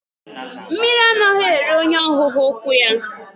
Mmiri anaghị eri onye ọ hụghị ukwu ya.